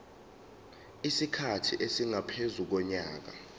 isikhathi esingaphezu konyaka